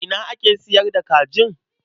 Ina ake sayar da kajin?